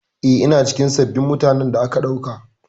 Eh, ina cikin sabbin mutanen da aka ɗauka.